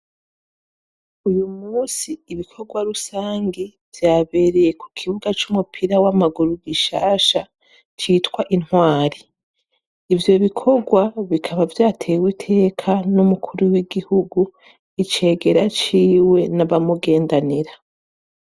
Uyu munsi ibikorwa rusangi vyabereye ku kibuga c'umupira w'amaguru gishasha citwa Intwari, ivyo bikorwa bikaba vyatewe iteka n'umukuru w'igihugu, Icegera ciwe n'abamugendanira.